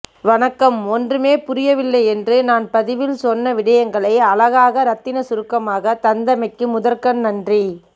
வணக்கம் ஒன்றுமே புரியவில்லையென்று நான் பதிவில் சொன்ன விடயங்களை அழகாக ரத்தினச் சுருக்கமாக தந்தமைக்கு முதற்க்கண் நன்றி